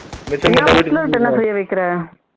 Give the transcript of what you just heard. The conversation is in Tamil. என்ன செய்ய வைக்கிற